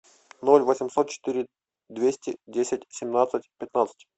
ноль восемьсот четыре двести десять семнадцать пятнадцать